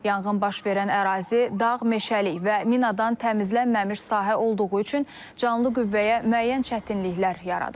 Yanğın baş verən ərazi dağ meşəlik və minadan təmizlənməmiş sahə olduğu üçün canlı qüvvəyə müəyyən çətinliklər yaradıb.